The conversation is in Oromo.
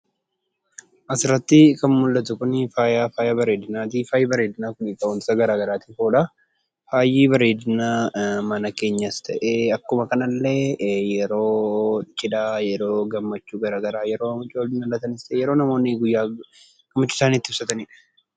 Asirratti kan mul'atu kunii faaya bareedinaati. Faayi bareedinaa kun wantoota garaagaraatiif oola, faayi bareedinaa mana keenyas ta'e; akkuma kanallee yeroo cidhaa, yeroo gammachuu garaa garaa, yeroo mucooliin dhalatanis ta'e; yeroo namoonni gammachuu isaanii itti ibsatanidha.